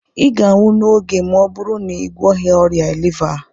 ị ga-anwụ n'oge ma ọ bụrụ na ị gwọghị ọrịa liva a